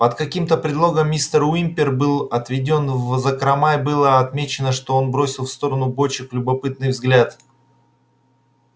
под каким-то предлогом мистер уимпер был отведён в закрома и было отмечено что он бросил в сторону бочек любопытный взгляд